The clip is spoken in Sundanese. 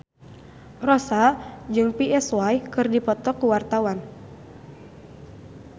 Rossa jeung Psy keur dipoto ku wartawan